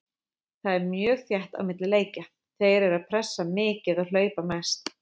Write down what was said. Það er mjög þétt á milli leikja, þeir eru pressa mikið og hlaupa mest.